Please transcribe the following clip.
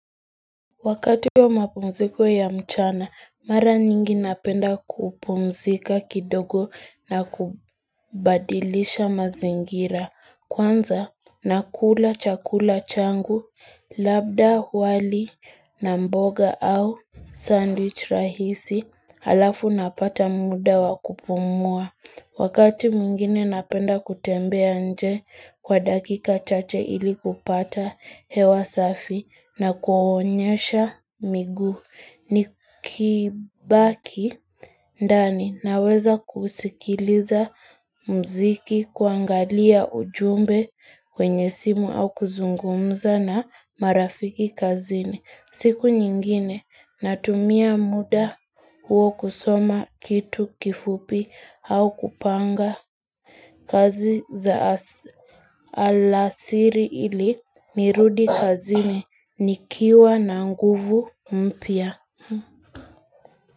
Wakati ya mapumziko ya mchana, mara nyingi napenda kupumzika kidogo na kubadilisha mazingira. Kwanza, nakula chakula changu, labda wali na mboga au sandwich rahisi halafu napata muda wakupumua. Wakati mwingine napenda kutembea nje kwa dakika chache ili kupata hewa safi na kunyoosha miguu. Nikibaki ndani na weza kusikiliza muziki, kuangalia ujumbe, kwenye simu au kuzungumza na marafiki kazini. Siku nyingine natumia muda huo kusoma kitu kifupi au kupanga kazi za alasiri. Alasiri ili nirudi kazini nikiwa na nguvu mpya.